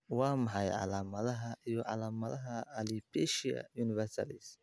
Waa maxay calaamadaha iyo calaamadaha Alopecia universalis?